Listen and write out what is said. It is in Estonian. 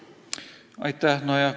Aitäh!